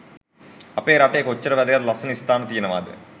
අපේ රටේ කොච්චර වැදගත් ලස්සන ස්ථාන තියෙනවාද?